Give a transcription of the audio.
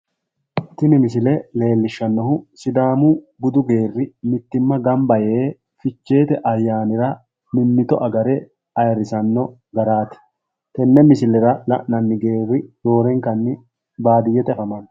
Tini misile leellishshannohu sidaamu budu geerri mittimma gamba yee ficheete ayyaanira mimmito agare ayirrisanno garaati tenne misilera la'nanni Geerri roorenkanni baadiyyete afamanno.